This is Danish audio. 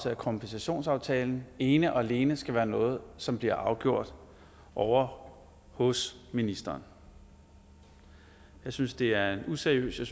af kompensationsaftalen ene og alene skal være noget som bliver afgjort ovre hos ministeren jeg synes det er en useriøs en